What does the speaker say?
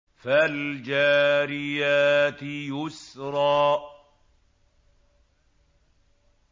فَالْجَارِيَاتِ يُسْرًا